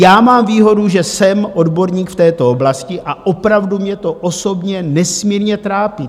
Já mám výhodu, že jsem odborník v této oblasti, a opravdu mě to osobně nesmírně trápí.